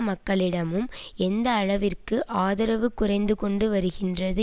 மக்களிடமும் எந்த அளவிற்கு ஆதரவு குறைந்து கொண்டு வருகின்றது